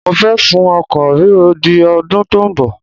Mo fẹ́ sún oko rírọ di ọdún tó ń bọ̀.